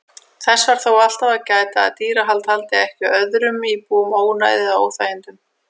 Þess þarf þó alltaf að gæta að dýrahald valdi ekki öðrum íbúum ónæði eða óþægindum.